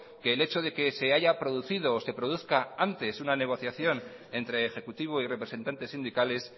que el hecho de que se haya producido o se produzca antes una negociación entre ejecutivo y representantes sindicales